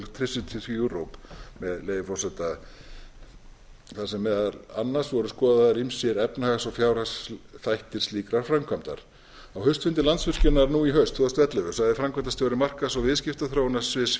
export of electricity to europe með leyfi forseta þar sem meðal annars voru skoðaðir ýmsir efnahags og fjárhagsþættir slíkrar framkvæmdar á haustfundi landsvirkjunar nú í haust tvö þúsund og ellefu sagði framkvæmdastjóri markaðs og viðskiptaþróunarsviðs